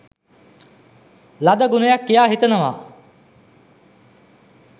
ලද ගුණයක් කියා හිතනවා.